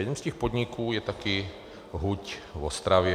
Jeden z těch podniků je také huť v Ostravě.